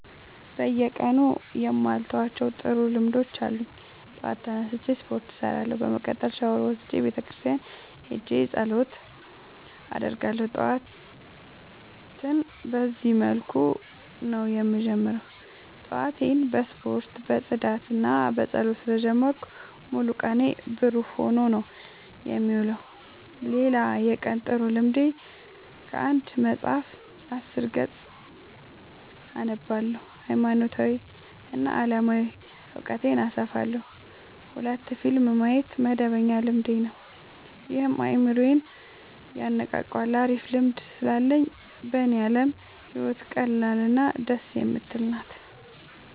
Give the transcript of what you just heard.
በየቀኑ የማልተዋቸው ጥሩ ልምዶች አሉኝ ጠዋት ተነስቼ ስፓርት እሰራለሁ። በመቀጠልም ሻውር ወስጄ ቤተክርስቲያን ሄጄ ፀሎት አደርጋለሁ ጠዋቴን በዚህ መልኩ ነው የምጀምረው። ጠዋቴን በስፖርት በፅዳትና በፀሎት ስለ ጀመርኩት ሙሉ ቀኔ ብሩህ ሆኖ ነው የምውለው። ሌላ የቀን ጥሩ ልምዴ ከአንድ መፀሀፍ አስር ገፅ አነባለሁ ሀይማኖታዊ እና አለማዊ እውቀቴን አሰፋለሁ። ሁለት ፊልም ማየት መደበኛ ልማዴ ነው ይህም አይምሮዬን የነቃቃዋል አሪፍ ልምድ ስላለኝ በኔ አለም ህይወት ቀላል እና ደስ የምትል ናት።